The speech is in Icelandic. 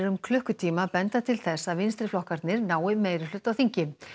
um klukkutíma benda til þess að vinstriflokkarnir nái meirihluta á þingi